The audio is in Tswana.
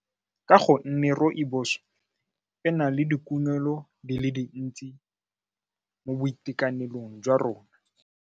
Ka go nne rooibos-e na le dikunelo di le dintsi mo boitekanelong jwa rona.